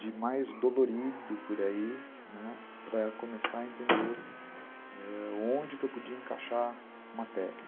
de mais dolorido por aí , né, para começar a entender onde que eu podia encaixar uma técnica.